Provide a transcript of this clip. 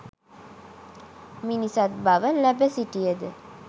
මිනිසත් බව ලැබ සිටියද